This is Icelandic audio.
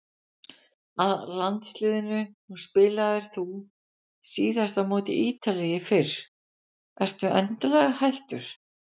Að landsliðinu, nú spilaðir þú síðast á móti Ítalíu í fyrr, ertu endanlega hættur?